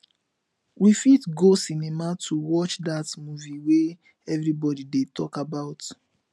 we fit go cinema to watch that movie wey everybody dey talk about